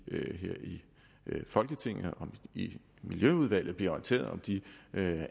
folketinget og i miljøudvalget bliver orienteret om de